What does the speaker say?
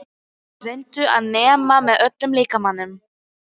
Reyndu að nema með öllum líkamanum.